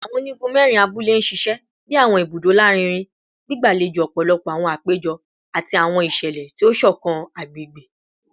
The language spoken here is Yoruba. Awọn onigun mẹrin abule ṣiṣẹ bi awọn ibudo larinrin, gbigbalejo ọpọlọpọ awọn apejọ ati awọn iṣẹlẹ ti o ṣọkan agbegbe